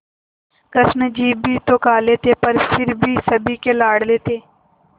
कृष्ण जी भी तो काले थे पर फिर भी सभी के लाडले थे